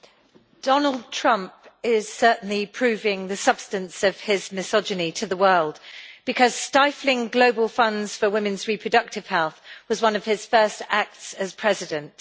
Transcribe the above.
Madam President, Donald Trump is certainly proving the substance of his misogyny to the world because stifling global funds for women's reproductive health was one of his first acts as President.